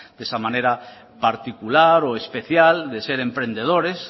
de esa manera particular o especial de ser emprendedores